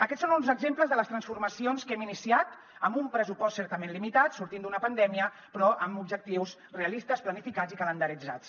aquests són uns exemples de les transformacions que hem iniciat amb un pressupost certament limitat sortint d’una pandèmia però amb objectius realistes planificats i calendaritzats